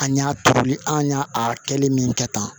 An y'a turuli an y'a a kɛli min kɛ tan